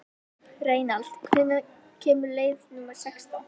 Reynald, hvenær kemur leið númer sextán?